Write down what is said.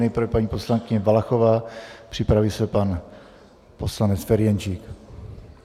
Nejprve paní poslankyně Valachová, připraví se pan poslanec Ferjenčík.